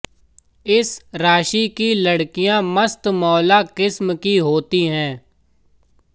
इस राशि की लड़किया मस्तमौला किस्म की होती है